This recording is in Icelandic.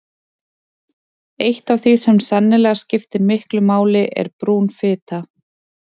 Eitt af því sem sennilega skiptir miklu máli er brún fita.